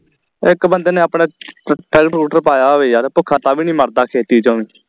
ਇਕ ਬੰਦੇ ਨੇ ਆਪਣਾ tractor ਪਾਇਆ ਹੋਵੇ ਯਾਰ ਭੁੱਖਾ ਤਾ ਵੀ ਨੀ ਮਰਦਾ ਛੇਤੀ ਉਹਵੀ